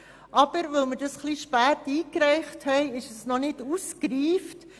Da wir unseren Antrag etwas spät eingereicht haben, ist er noch nicht ausgereift.